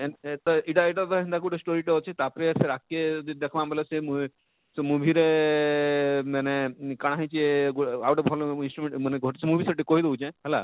N ଏନ ତ ଇଟା ଇଟା ଗୋଟେ ତ ହେନତା story ଟେ ଅଛେ ତାର ପରେ ସେ ଯଦି ଦେଖମା ବଇଲେ ସେ movie ରେ ଆଃ ଆଃ ଆଃ ମାନେ କାଏଁ ହେଇଛେ ଆଉ ଆଉ ଗୋଟେ ଭଲ instrument ମାନେ ସେ movie ସେଠି କହି ଦଉଛେ?